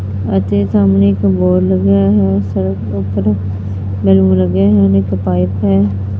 ਅਤੇ ਸਾਹਮਣੇ ਇੱਕ ਬੋਰਡ ਲੱਗਿਆ ਹੈ ਸੜਕ ਦੇ ਉੱਪਰ ਨਿੰਮ ਲੱਗੇ ਹਨ ਇੱਕ ਪਾਈਪ ਹੈ।